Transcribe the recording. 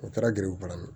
O taara gɛribula